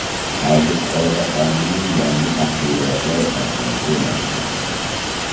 Avgust oyida qonunning yangi tahriri loyihasi e’lon qilindi.